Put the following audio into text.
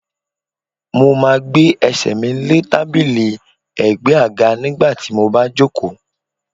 Mo máa gbé Ẹsẹ̀ mi lé tábìlì ẹ̀gbẹ́ àga nígbà tí mo bá jòkó.